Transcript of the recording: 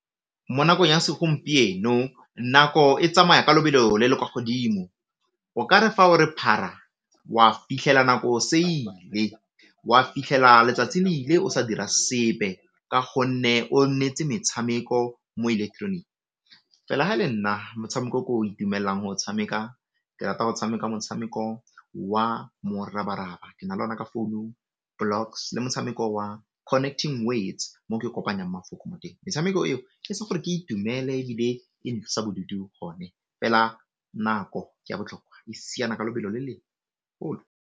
Mo nakong ya segompieno nako e tsamaya ka lobelo le le kwa godimo, o kare fa o re phara wa fitlhela nako se ile, wa fitlhela letsatsi le ile o sa dira sepe ka gonne o nnete metshameko mo electronic, fela ga le nna motshameko o ke o itumelang go tshameka ke rata go tshameka motshameko wa Morabaraba ke na le o na ka founung, Blocks le motshameko wa Connecting Words teng metshameko eo e etsa gore ke itumele e be e ntlosa bodutu go ne fela nako ke ya botlhokwa, e siana ka lebelo le le golo.